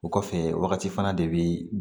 O kɔfɛ wagati fana de bi